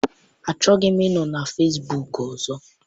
Achọghịzi m ịnọ na fesbuk ọzọ.